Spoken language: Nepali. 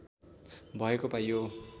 भएको पाइयो